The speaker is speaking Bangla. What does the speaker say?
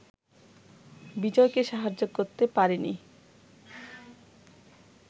বিজয়কে সাহায্য করতে পারেনি